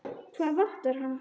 Hvað vantar hana?